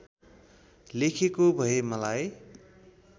लेखेको भए मलाई